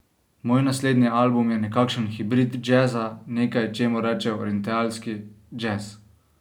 Moj naslednji album je nekakšen hibrid džeza, nekaj, čemur rečejo orientalski džez.